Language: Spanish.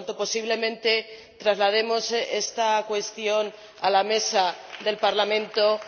Por lo tanto, posiblemente traslademos esta cuestión a la Mesa del Parlamento